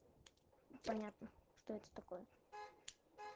понятно что это такое